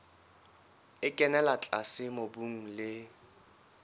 e kenella tlase mobung le